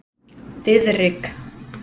Diðrik